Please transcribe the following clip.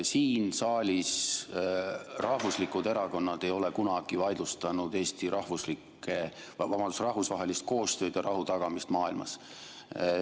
Siin saalis ei ole rahvuslikud erakonnad kunagi vaidlustanud Eesti rahvusvahelist koostööd ja rahu tagamist maailmas.